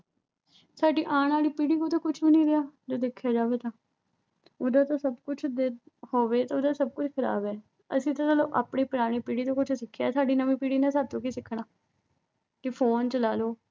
ਸਾਡੇ ਆਉਣ ਵਾਲੀ ਪੀੜ੍ਹੀ ਕੋਲ ਤਾਂ ਕੁਛ ਵੀ ਨੀਂ ਰਿਹਾ ਜੇ ਦੇਖਿਆ ਜਾਵੇ ਤਾਂ ਉਹਦਾ ਤਾਂ ਸਭ ਕੁਛ ਅਹ ਹੋਵੇ, ਉਹਦਾ ਤਾਂ ਸਭ ਕੁਛ ਖਰਾਬ ਆ। ਅਸੀਂ ਤਾਂ ਚੱਲ ਆਪਣੀ ਪੁਰਾਣੀ ਪੀੜ੍ਹੀ ਤੋਂ ਕੁਝ ਸਿੱਖਿਆ। ਸਾਡੀ ਨਵੀਂ ਪੀੜ੍ਹੀ ਨੇ ਸਾਡੇ ਤੋਂ ਕੀ ਸਿੱਖਣਾ। ਕਿ phone ਚਲਾ ਲੋ।